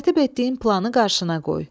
Tərtib etdiyin planı qarşına qoy.